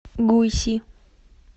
гуйси